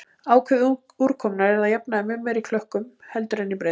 Ákefð úrkomunnar er að jafnaði mun meiri í klökkum heldur en í breiðum.